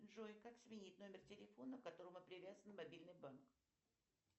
джой как сменить номер телефона к которому привязан мобильный банк